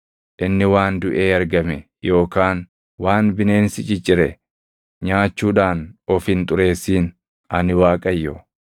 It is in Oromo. Inni waan duʼee argame yookaan waan bineensi ciccire nyaachuudhaan of hin xurreessin. Ani Waaqayyo.